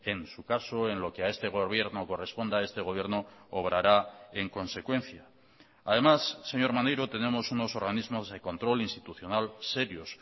en su caso en lo que a este gobierno corresponda este gobierno obrará en consecuencia además señor maneiro tenemos unos organismos de control institucional serios